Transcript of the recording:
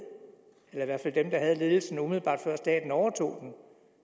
eller i hvert fald dem der havde ledelsen umiddelbart før staten overtog